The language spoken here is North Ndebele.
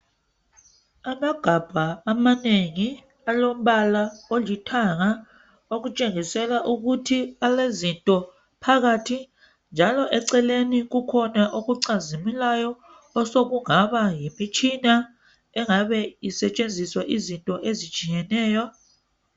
Amagabha amanengi alombala olithanga okutshengisela ukuthi alezinto phakathi njalo eceleni kukhona okucazimulayo osokungaba yimitshina engabe isetshenziswa izinto ezitshiyeneyo.